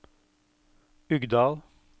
Uggdal